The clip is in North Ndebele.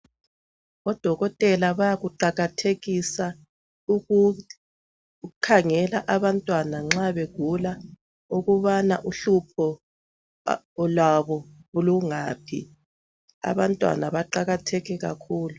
Odokotela bayakuqakathekisa ukukhangela abantwana nxa begula ukubana uhlupho lwabo lungaphi. Abantwana baqakathekile kakhulu.